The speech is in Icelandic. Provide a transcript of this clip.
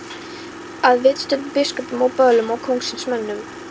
Að viðstöddum biskupum og böðlum og kóngsins mönnum.